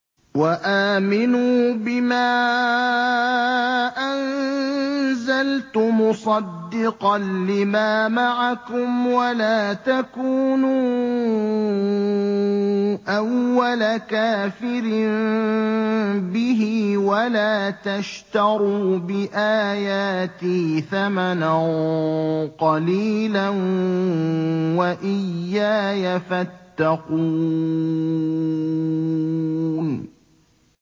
وَآمِنُوا بِمَا أَنزَلْتُ مُصَدِّقًا لِّمَا مَعَكُمْ وَلَا تَكُونُوا أَوَّلَ كَافِرٍ بِهِ ۖ وَلَا تَشْتَرُوا بِآيَاتِي ثَمَنًا قَلِيلًا وَإِيَّايَ فَاتَّقُونِ